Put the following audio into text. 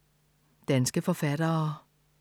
Danske forfattere